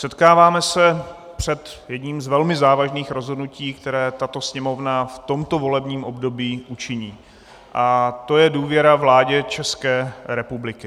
Setkáváme se před jedním z velmi závažných rozhodnutí, které tato Sněmovna v tomto volebním období učiní, a to je důvěra vládě České republiky.